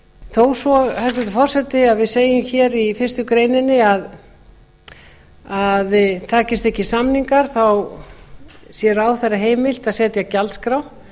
þó svo hæstvirtur forseti að við segjum hér í fyrstu grein að takist ekki samningar sé ráðherra heimilt að setja gjaldskrá